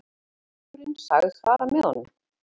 Símstjórinn sagðist fara með honum.